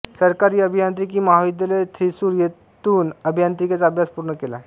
सरकारी अभियांत्रिकी महाविद्यालयथ्रिसूर येथून अभियांत्रिकीचा अभ्यास पूर्ण केला